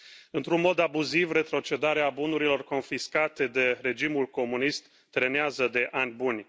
Într un mod abuziv, retrocedarea bunurilor confiscate de regimul comunist trenează de ani buni.